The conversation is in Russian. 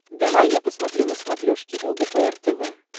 давай я посмотрю на смотрешке лдпр тв